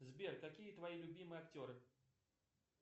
сбер какие твои любимые актеры